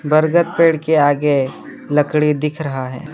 बरगद पेड़ के आगे लकड़ी दिख रहा है।